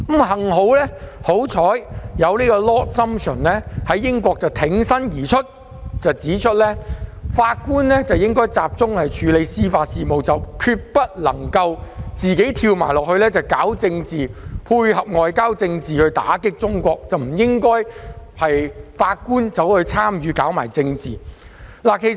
幸好 Lord SUMPTION 挺身而出，指出法官應集中處理司法事務，決不應參與政治，配合外交政策打擊中國，這實非法官所應為。